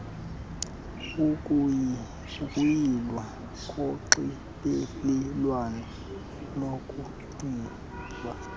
ukuyilwa konxibelelwano lokuceba